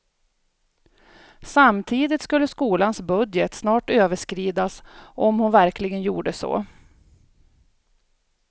Samtidigt skulle skolans budget snart överskridas om hon verkligen gjorde så.